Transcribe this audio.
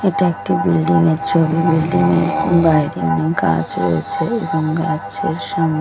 এটা একটি বিল্ডিং -এর ছবি বিল্ডিং -এর বাহিরে অনেক গাছ রয়েছে এবং গাছের সঙ্--